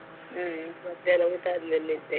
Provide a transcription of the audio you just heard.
ಹ್ಮ್ ಮಧ್ಯಾಹ್ನ ಊಟ ಆದ್ಮೇಲೆ ನಿದ್ದೆ.